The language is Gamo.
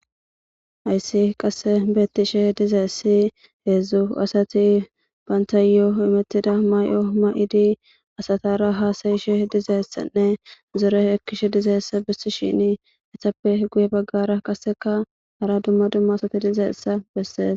Ayssi qasse bettishe dizeessi heedzdzu asati bantay imittida may7o ma7idi asatara haasayishe dizeessanne zore ekkishe dizeessa bissi shini esappe guye baggara qasseka hara dumma dumma asati dizeessa bessees